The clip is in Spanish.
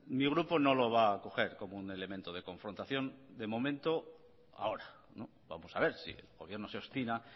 mi grupo no lo va a coger como un elemento de confrontación de momento ahora vamos a ver si el gobierno se obstina